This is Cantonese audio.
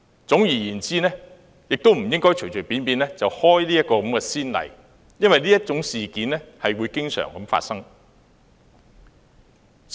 總之，我們不應隨便開此先例，因為這種事件會經常發生。